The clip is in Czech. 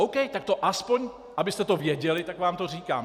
OK, tak to aspoň, abyste to věděli, tak vám to říkám.